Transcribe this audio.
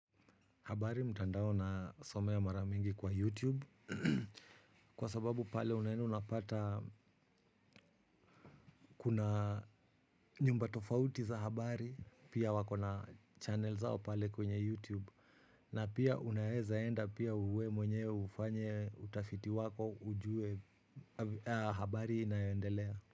Habari mtandao nasomea mara mingi kwa Youtube. Kwa sababu pale unaenda unapata kuna nyumba tofauti za habari. Pia wako na channel zao pale kwenye Youtube. Na pia unaeza enda pia wewe mwenyewe ufanye utafiti wako ujue habari inayoendelea.